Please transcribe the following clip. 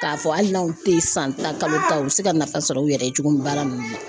K'a fɔ hali n'aw tɛ san tan kalo u bɛ se ka nafa sɔrɔ u yɛrɛ ye cogo min baara ninnu na.